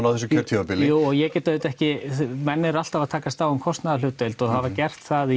á þessu kjörtímabili jú og ég get auðvitað ekki menn eru alltaf að takast á um kostnaðarhlutdeild og hafa gert það